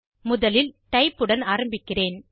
முதலிலி type உடன் ஆரம்பிக்கிறேன்